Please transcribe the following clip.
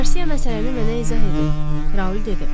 Qarsiya məsələni mənə izah edib, Raul dedi.